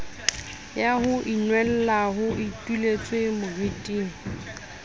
ya ho inwella ho ituletswemoriting